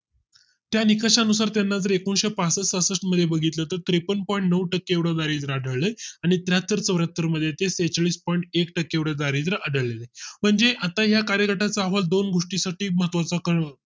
त्या निकषा नुसार त्यानंतर एकनिशे पासष्ठ सहासष्ठ मध्ये बघितले तर त्रेपन्न point नऊ टक्के एवढ दारिद्य आढळलं आणि त्र्याहत्तर चौऱ्या हत्तर मध्ये ते त्रेचाळीस point एक टक्के एवढं दारिद्य आढळलं म्हणजे आता या कार्यक्रमा चा अहवाल दोन गोष्टी साठी महत्त्वा चा काळ